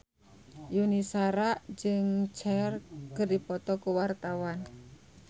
Yuni Shara jeung Cher keur dipoto ku wartawan